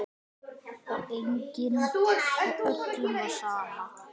Skarnið mitt, sagði amma.